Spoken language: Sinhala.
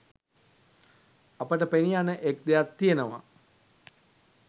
අපට පෙනීයන එක් දෙයක් තියෙනවා.